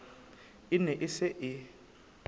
e ne e se e